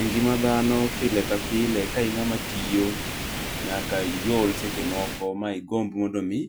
E ngima dhano pile ka pile ka ing'ama tiyo nyaka iol seche moko, ma igomb mondo omi